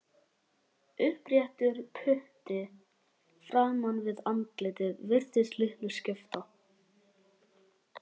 Uppréttur putti framan við andlitið virtist litlu skipta.